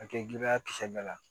A kɛ giliya kisɛ bɛɛ la